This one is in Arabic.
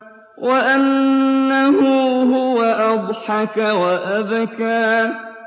وَأَنَّهُ هُوَ أَضْحَكَ وَأَبْكَىٰ